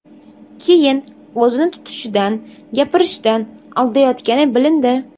Keyin o‘zini tutishidan, gapirishidan aldayotgani bilindi.